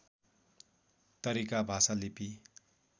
तरिका भाषा लिपि